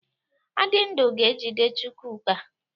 Adindu ga-ejide Chukwuka.